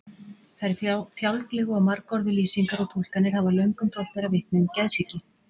Þær fjálglegu og margorðu lýsingar og túlkanir hafa löngum þótt bera vitni um geðsýki.